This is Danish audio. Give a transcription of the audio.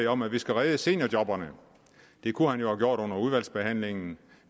om at vi skal redde seniorjobberne det kunne han jo have gjort under udvalgsbehandlingen